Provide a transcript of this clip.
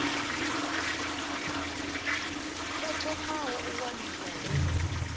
o thomaho u waniwa hu